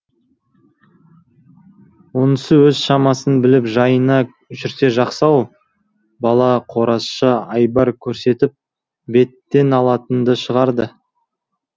онысы өз шамасын біліп жайына жүрсе жақсы ау бала қоразша айбар көрсетіп беттен алатынды шығарды